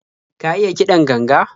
Ka iya kiɗan ganga?